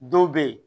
Dɔw bɛ yen